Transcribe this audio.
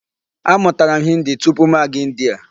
A mụtara m Hindi tupu mụ aga India.